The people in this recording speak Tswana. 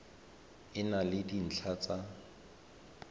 e na le dintlha tsa